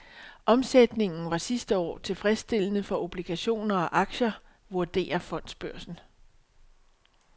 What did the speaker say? Omsætningen var sidste år tilfredsstillende for obligationer og aktier, vurderer fondsbørsen.